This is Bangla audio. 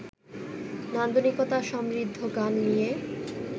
নান্দনিকতা সমৃদ্ধ গান নিয়ে